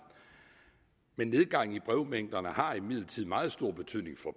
men nedgangen i brevmængderne har imidlertid meget stor betydning for